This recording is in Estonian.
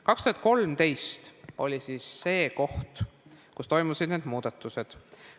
2013 oli siis see aeg, kui toimusid muudatused.